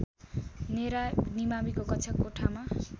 नेरा निमाविको कक्षाकोठामा